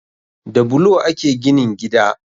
Da bulo ake ginin gida